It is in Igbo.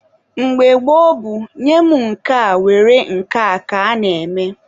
Mgbe gboo bụ nye mụ nke a were nke a ka a na-eme.